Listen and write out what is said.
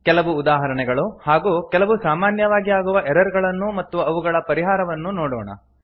ಕೆಲವು ಉದಾಹರಣೆಗಳು ಹಾಗೂ ಕೆಲವು ಸಾಮಾನ್ಯವಾಗಿ ಆಗುವ ಎರರ್ ಗಳನ್ನೂ ಮತ್ತು ಅವುಗಳ ಪರಿಹಾರವನ್ನೂ ನೋಡೋಣ